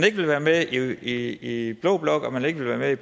ikke vil være med i blå blok og man ikke vil være med i